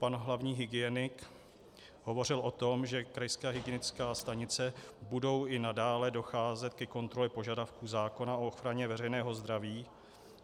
Pan hlavní hygienik hovořil o tom, že krajské hygienické stanice budou i nadále docházet ke kontrole požadavků zákona o ochraně veřejného zdraví.